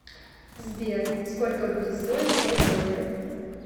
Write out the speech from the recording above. сбер сколько будет стоить пять долларов